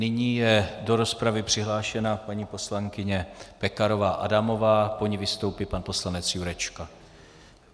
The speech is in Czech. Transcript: Nyní je do rozpravy přihlášena paní poslankyně Pekarová Adamová, po ní vystoupí pan poslanec Jurečka.